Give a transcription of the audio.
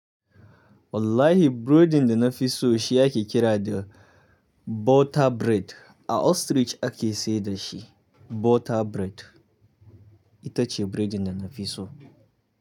Wallahi buredin da na fi so shi ake kira da butter bread. A ostrich ake sayar da shi. Butter bread ita ce buredin da na fi so.